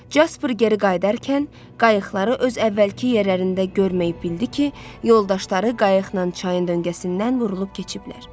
Casper geri qayıdarkən, qayıqları öz əvvəlki yerlərində görməyib bildi ki, yoldaşları qayıqla çayın döngəsindən vurulub keçiblər.